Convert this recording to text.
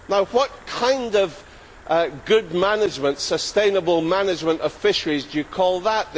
What kind of good management sustainable management of fisheries do you call that?